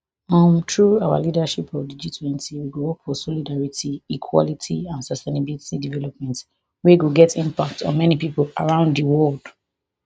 um through our leadership of di gtwenty we go work for solidarity equality and sustainable development wey go get impact on many pipo around di world